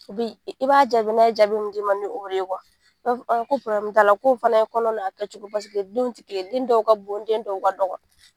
Bi i b'a jaabi, n'a ye jaabi min di ma ni o de ye , i b'a fɔ ko t'a la k'o fana ye kɔnɔ n'a kɛ cogo oaseke denw tɛ kelen ye, den dɔw ka bon den dɔw ka dɔgɔ.